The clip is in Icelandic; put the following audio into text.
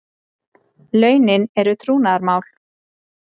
Launin eru trúnaðarmál